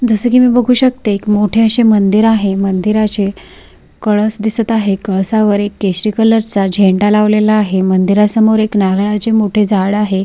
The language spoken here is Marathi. जस की मी बघू शकते मोठे असे मंदिर आहे मंदिराचे कळस दिसत आहे कळसावर एक केशरी कलरचा झेंडा लावलेला आहे मंदीरासमोर एक नारळाचे मोठे झाड आहे.